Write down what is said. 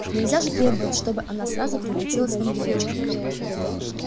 нельзя же требовать чтобы она сразу превратилась в ангелочка